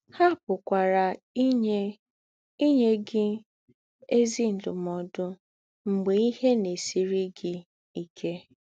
Há pụ̀kwara ínyé ínyé gị “ ézì ndúmòdù̄ ” mḡbè ìhè na - èsírí gị íké.